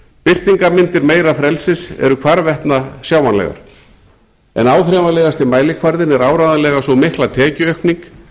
birtingarmyndir meira frelsis eru hvarvetna sjáanlegar en áþreifanlegasti mælikvarðinn er áreiðanlega sú mikla tekjuaukning